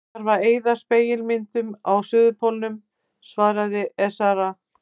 Það þarf að eyða spegilmyndunum á Suðurpólnum, svaraði herra Ezana.